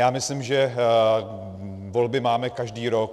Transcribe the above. Já myslím, že volby máme každý rok.